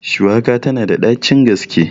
Shuwaka tana da ɗacin gaske.